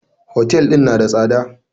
Hotel ɗin na da tsada.